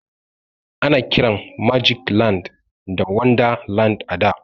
Ana kiran magic land da wonderland a da.